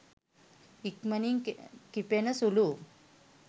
ඉක්මනින් කිපෙන සුළු